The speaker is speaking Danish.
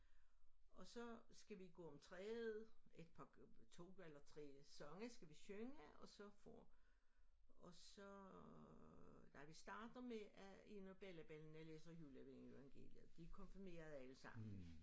Og så skal vi gå om træet et par 2 eller 3 sange skal vi synge og så får og så nej vi starter med at en af bellabellana læser juleevangeliet de er konfirmerede allesammen